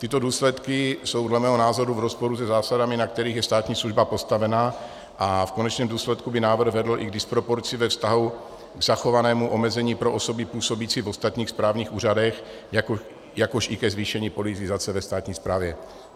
Tyto důsledky jsou dle mého názoru v rozporu se zásadami, na kterých je státní služba postavena, a v konečném důsledku by návrh vedl i k disproporci ve vztahu k zachovanému omezení pro osoby působící v ostatních správních úřadech, jakož i ke zvýšení politizace ve státní správě.